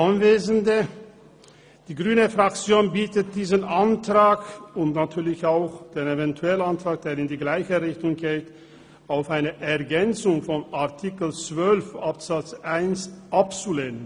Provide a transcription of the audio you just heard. Die grüne Fraktion bittet diesen Antrag auf Ergänzung von Artikel 12 Absatz 1 und natürlich auch den Eventualantrag, der in die gleiche Richtung geht, abzulehnen.